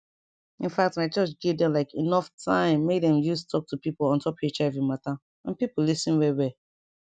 infact my church give dem like enough time make dem use talk to pipo ontop hiv mata and pipo lis ten well well